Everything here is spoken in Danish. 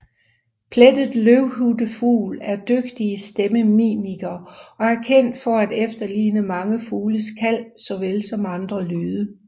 Plettet løvhyttefugl er dygtige stemmemimikere og er kendt for at efterligne mange fugles kald såvel som andre lyde